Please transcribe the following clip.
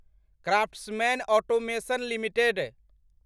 craftsmen automation limited